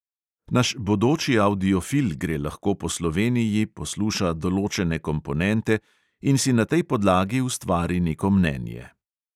Naš bodoči avdiofil gre lahko po sloveniji, posluša določene komponente in si na tej podlagi ustvari neko mnenje.